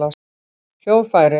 hljóðfæri